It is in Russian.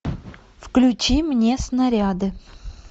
включи мне снаряды